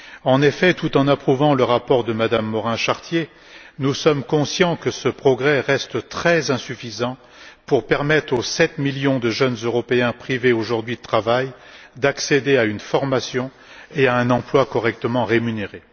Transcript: En effet, tout en approuvant le rapport de Mme Morin Chartier, nous sommes conscients que ce progrès reste très insuffisant pour permettre aux sept millions de jeunes Européens privés aujourd'hui de travail d'accéder à une formation et à un emploi correctement rémunéré.